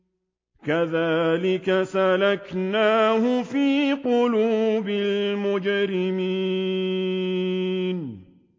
كَذَٰلِكَ سَلَكْنَاهُ فِي قُلُوبِ الْمُجْرِمِينَ